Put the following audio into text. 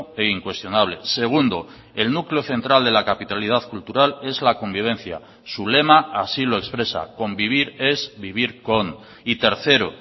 e incuestionable segundo el núcleo central de la capitalidad cultural es la convivencia su lema así lo expresa convivir es vivir con y tercero